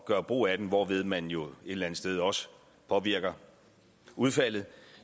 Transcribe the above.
gøre brug af den hvorved man jo et eller andet sted også påvirker udfaldet